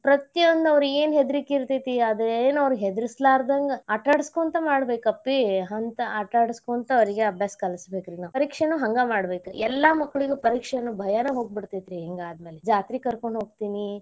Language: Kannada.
ಪ್ರತಿಯೊಂದು ಅವ್ರಿಗೆ ಏನ್ ಹೆದರಿಕಿ ಇರತೇತಿ ಅದ ಏನ್ ಅವ್ರಿಗೆ ಹೆದರಸಲಾರದಂಗ್ ಆಟಾಡಸ್ಕೊಂತ ಮಾಡ್ಬೇಕ್, ಅಪ್ಪಿ ಅಂತ ಅವ್ರಿಗೆ ಆಟಾಡಸ್ಕೊಂತ ಅವ್ರಿಗೆ ಅಭ್ಯಾಸ ಕಲ್ಸ್ಬೇಕ್ರಿ ನಾವ್ ಪರೀಕ್ಷೆನು ಹಂಗ ಮಾಡ್ಬೇಕರಿ ಎಲ್ಲಾ ಮಕ್ಕಳಿಗು ಪರೀಕ್ಷೆ ಅನ್ನು ಭಯನೇ ಹೋಗ್ಬಿಡತೇತಿರೀ ಹಿಂಗ ಆದ್ಮೇಲೆ, ಜಾತ್ರಿ ಕರ್ಕೊಂಡ ಹೋಗ್ತೇನಿ.